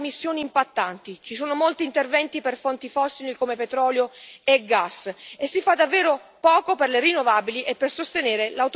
Ci sono molti interventi per fonti fossili come petrolio e gas e si fa davvero poco per le rinnovabili e per sostenere l'autoproduzione energetica.